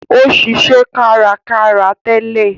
Ó ṣiṣẹ́ kárakára tẹ́lẹ̀